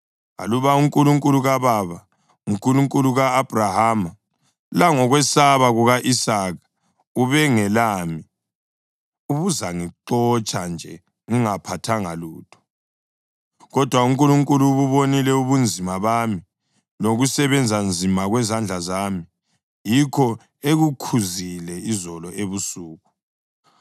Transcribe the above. Aluba uNkulunkulu kababa, uNkulunkulu ka-Abhrahama langokwesaba kuka-Isaka, ubengelami, ubuzangixotsha nje ngingaphathanga lutho. Kodwa uNkulunkulu ububonile ubunzima bami lokusebenza nzima kwezandla zami, yikho ekukhuzile izolo ebusuku.”